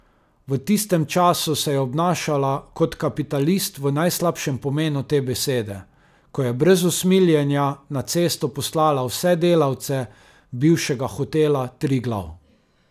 V tistem času se je obnašala kot kapitalist v najslabšem pomenu te besede, ko je brez usmiljenja na cesto poslala vse delavce bivšega hotela Triglav.